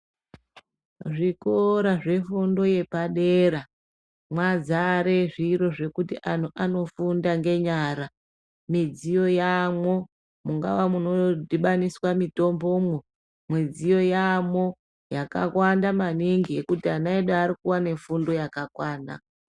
Zvikora zvefundo yepadera mwazare zviro zvekuti antu anofunde ngenyara midziyo yaamo mungaaa munodhibaniswa mitombomo midziyo yaamwo yakawanda maningi yekuti ana edu akuwane fundo yakakwana.